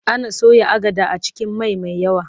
Ana soya agada a cikin mai mai yawa.